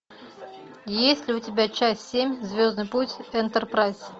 есть ли у тебя часть семь звездный путь энтерпрайз